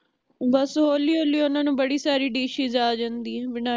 ਬਸ ਹੋਲੀ ਹੋਲੀ ਓਹਨਾਂ ਨੂੰ ਬੜੀ ਸਾਰੀ dishes ਆ ਜਾਂਦੀ ਹੈ ਬਨਾਨੀ